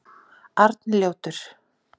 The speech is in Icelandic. Arnljótur